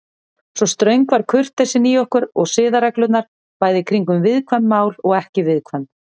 Svona ströng var kurteisin í okkur og siðareglurnar, bæði kringum viðkvæm mál og ekki viðkvæm.